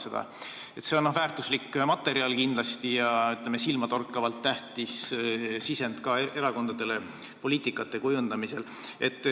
See on kindlasti väärtuslik materjal ja, ütleme, silmatorkavalt tähtis sisend ka erakondadele poliitikate kujundamisel.